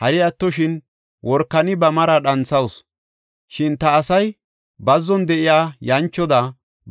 Hari attoshin worakani ba mari dhanthawusu; shin ta asay bazzon de7iya yanchoda,